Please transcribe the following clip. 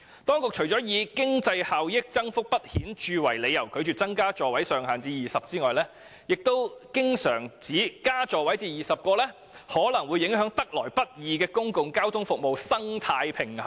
當局除了以經濟效益增幅不顯著為理由，拒絕把座位上限增至20個外，還經常指把座位數目增至20個可能會影響得來不易的公共交通服務生態平衡。